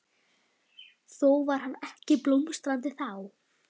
Þó var hann ekki blómstrandi þá.